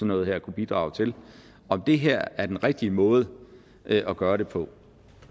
noget her kunne bidrage til om det her er den rigtige måde at gøre det på